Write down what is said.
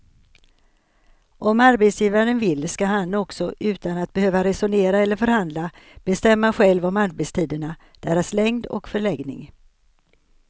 Om arbetsgivaren vill ska han också utan att behöva resonera eller förhandla bestämma själv om arbetstiderna, deras längd och förläggning.